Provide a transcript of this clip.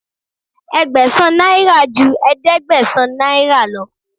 Ẹgbẹ̀sàn náírà ju ẹ̀ẹ́dẹ́gbẹ̀sán náírà lọ.